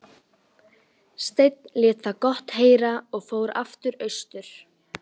Sveinn lét það gott heita og fór aftur austur.